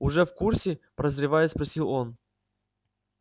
уже в курсе прозревая спросил он